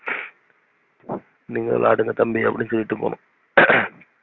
நீங்க விளையாடுங்க தம்பினு அப்டி சொல்லிருவோம்.